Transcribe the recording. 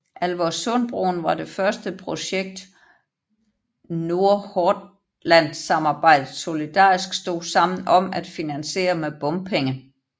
Alversundbroen var det første projekt Nordhordlandsamarbejdet solidarisk stod sammen om at finansiere med bompenge